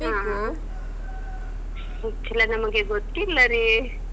ಹ. ಉಚ್ಚಿಲ ನಮಗೆ ಗೊತ್ತಿಲ್ಲ ರೀ.